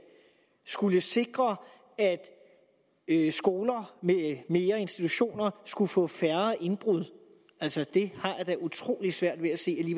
skulle sikre at skoler institutioner med skulle få færre indbrud det har jeg da utrolig svært ved at se at